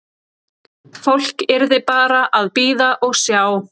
Fólk yrði bara að bíða og sjá.